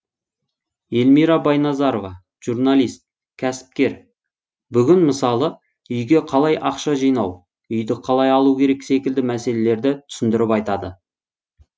эльмира байназарова журналист кәсіпкер бүгін мысалы үйге қалай ақша жинау үйді қалай алу керек секілді мәселелерді түсіндіріп айтады